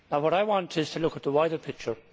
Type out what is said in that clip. I want to look at the wider picture.